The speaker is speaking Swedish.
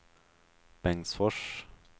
Bengtsfors